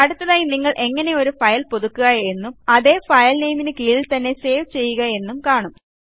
അടുത്തതായി നിങ്ങൾ എങ്ങനെ ഒരു ഫയൽ പുതുക്കുക എന്നും അതേ ഫയൽ നെയ്മിനു കീഴിൽ തന്നെ സേവ് ചെയ്യുക എന്നും കാണാം